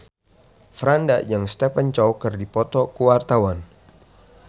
Franda jeung Stephen Chow keur dipoto ku wartawan